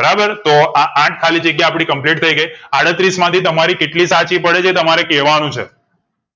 બરાબર તો આ આઠ ખાલીજગ્યા આપડી complete થઈ ગઈ અડસત્રીસ માંથી તમારી કેટલી સાચી પડે છે એ તમારે કેવા નું છે